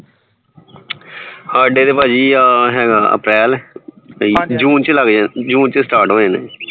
ਹਾਡੇ ਤਾਂ ਭਾਜੀ ਆਹ ਹੇਗਾ april june ਚ ਲੱਗ ਜਾਂਦਾ june ਚ start ਹੋ ਜਾਣਾ